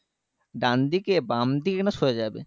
ডানদিকে বামদিকে না সোজা যাবে